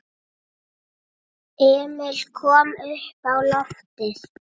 Emil kom uppá loftið.